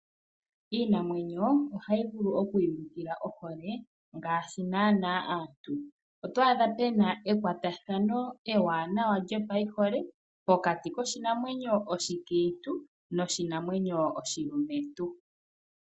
Iinamwenyo ohayi vulu oku iyulukila ohole ngaashi nana aantu, oto adha puna ekwatathano ewanawa lyopayihole pokati koshinamwenyo oshikiintu noshinamwenyo oshilumentu.